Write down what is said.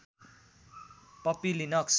Puppy Linux